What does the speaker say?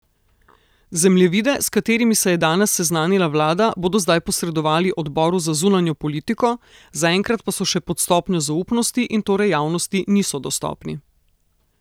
Zemljevide, s katerimi se je danes seznanila vlada, bodo zdaj posredovali odboru za zunanjo politiko, zaenkrat pa so še pod stopnjo zaupnosti in torej javnosti niso dostopni.